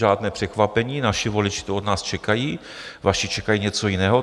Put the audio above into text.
Žádné překvapení, naši voliči to od nás čekají, vaši čekají něco jiného.